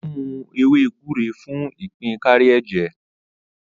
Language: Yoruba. Ó lo ewé gbúre fún ìpín kárí ẹ̀jẹ̀.